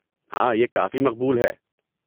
ہاں، یہ کافی مقبول ہے۔